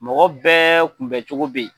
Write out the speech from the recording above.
Mɔgɔ bɛɛ kun bɛn cogo bɛ.